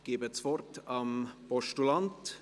Ich gebe das Wort dem Postulanten.